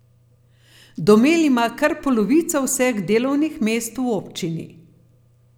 Domel ima kar polovico vseh delovnih mest v občini.